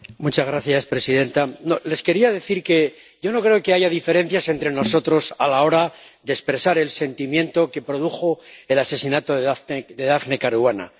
Señora presidenta, les quería decir que yo no creo que haya diferencias entre nosotros a la hora de expresar el sentimiento que produjo el asesinato de Daphne Caruana.